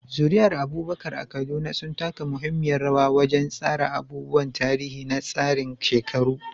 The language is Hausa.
Zuri'ar Abubakar a Kaduna sun taka muhimmiyar rawa wajen tsara abubuwan tarihi na tsarin shekaru.